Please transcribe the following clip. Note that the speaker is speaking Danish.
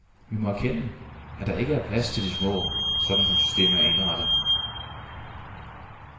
Vi må erkende, at der ikke er plads til de små, sådan som systemet er indrettet.